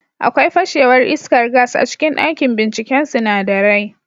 Akwai fashewar iskar gas a cikin dakin binciken sinadarai